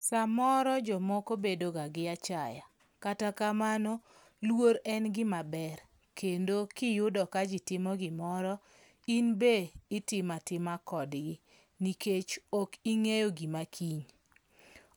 Samoro jomoko bedo ga gi achaya kata kamano luor en gima ber kendo kiyudo ka jii timo gimoro in be itimatima kodgi nikech, ok ing'eyo gima kiny